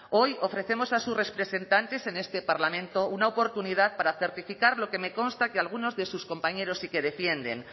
hoy ofrecemos a sus representantes en este parlamento una oportunidad para certificar lo que me consta que algunos de sus compañeros sí que defienden